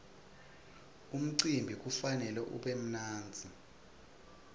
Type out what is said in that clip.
umcimbi kufanele ube mnandzi